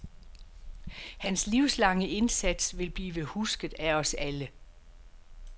Hans livslange indsats vil blive husket af os alle.